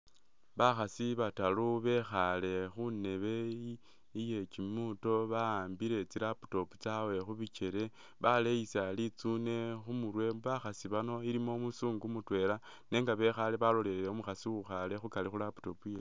Bakhaasi bataaru bekhaale khundebe iye kyimuuto ba'ambile tsi laptop tsaabwe khubikyele ,baleyisa litsune khumurwe, bakhaasi bano ilimo umuzungu mutweela nenga bekhaale balolelele umukhaasi uwikhaale khugaali khu laptop yewe